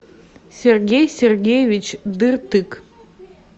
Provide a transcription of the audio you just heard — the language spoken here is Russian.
сергей сергеевич дыртык